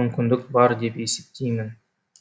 мүмкіндік бар деп есептеймін